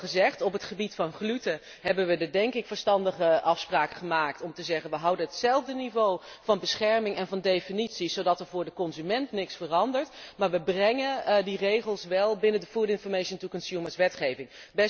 Het is al gezegd op het gebied van gluten hebben we de denk ik verstandige afspraak gemaakt om te zeggen we houden hetzelfde niveau van bescherming en van definities, zodat er voor de consument niets verandert, maar we brengen die regels wel binnen de food information to consumers wetgeving.